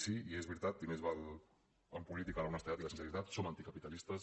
sí i és veritat i més val en política l’honestedat i la sinceritat som anticapitalistes